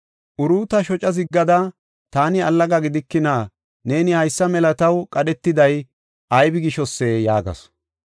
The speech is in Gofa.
Uruuta shoca ziggada, “Taani allaga gidikina? Neeni haysa mela taw qadhetiday aybise?” yaagasu.